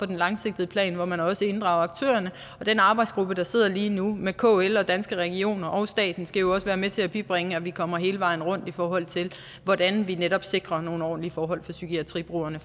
den langsigtede plan hvor man også inddrager aktørerne og den arbejdsgruppe der sidder lige nu med kl og danske regioner og staten skal jo også være med til at bibringe at vi kommer hele vejen rundt i forhold til hvordan vi netop fremover sikrer nogle ordentlige forhold for psykiatribrugerne